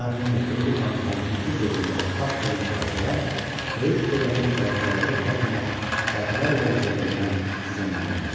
Mərhum Mehdiqulu xanı hakimiyyəti dövründə baş vermiş hadisələr böyük dövlətin karguzarları tərəfindən dəfələrlə yazıldığından sizə məlumdur.